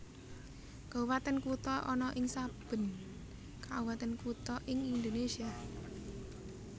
Kabupatèn Kutha ana ing saben kabupatèn kutha ing Indonésia